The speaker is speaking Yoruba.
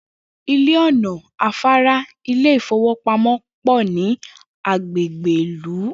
Ilé, ò̩nà, afárá, ilé ìfowópamó̩ pò̩ ní agbègbè ìlú